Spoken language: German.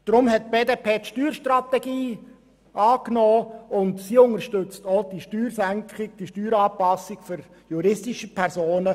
Deshalb hat die BDP die Steuerstrategie angenommen, und sie unterstützt auch die hier vorgeschlagene Steueranpassung für juristische Personen.